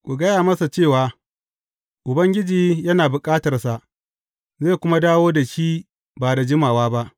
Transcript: Ku gaya masa cewa, Ubangiji yana bukatarsa, zai kuma dawo da shi ba da jimawa ba.’